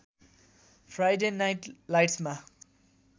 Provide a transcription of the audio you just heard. Friday night लाइट्समा